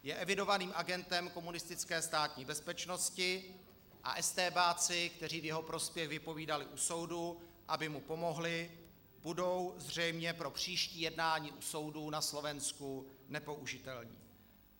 Je evidovaným agentem komunistické státní bezpečnosti a estébáci, kteří v jeho prospěch vypovídali u soudu, aby mu pomohli, budou zřejmě pro příští jednání u soudů na Slovensku nepoužitelní.